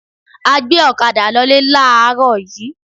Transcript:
A gbé ọ̀kadà lolé láàárọ̀ yìí